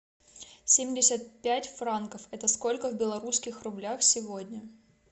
семьдесят пять франков это сколько в белорусских рублях сегодня